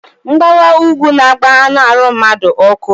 Mgbawa úgwú n'agba anụ arụ mmadu ọkụ